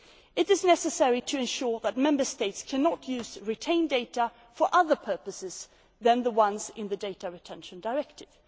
It is necessary to ensure that Member States cannot use retained data for other purposes than the ones in the Data Retention Directive.